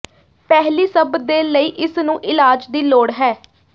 ਪਹਿਲੀ ਸਭ ਦੇ ਲਈ ਇਸ ਨੂੰ ਇਲਾਜ ਦੀ ਲੋੜ ਹੈ